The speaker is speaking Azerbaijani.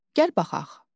Gəl baxaq.